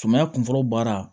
Suman kun fɔlɔ baara